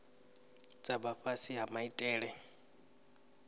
dza vha fhasi ha maitele